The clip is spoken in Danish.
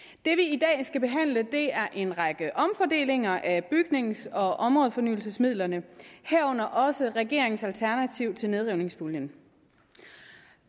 i dag skal behandle er en række omfordelinger af bygnings og områdefornyelsesmidlerne herunder også regeringens alternativ til nedrivningspuljen